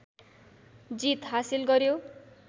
जीत हासिल गर्यो